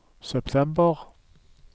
september